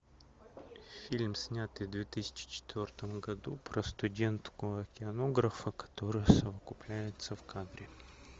фильм снятый в две тысячи четвертом году про студентку океанографа которая совокупляется в кадре